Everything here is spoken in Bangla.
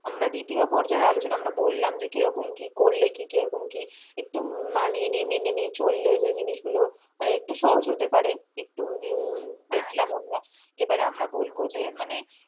আমরা দ্বিতীয় পর্যায়ে আলোচনা আমরা বললাম কি রকম কি করলে কি একটু মানিয়ে নিয়ে মেনে নিয়ে চললে যে জিনিসগুলো মানে একটু সহজ হতে পারে উম একটু দেখলাম আমরা এবারে আমরা বলবো যে মানে,